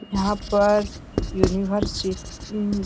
यह पर यूनिवर्स सी उम्म्म --